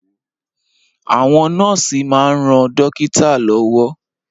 Àwọn nọ́ọ̀sì máa ń ran dókítà lọ́wọ́